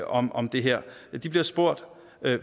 om om det her de bliver spurgt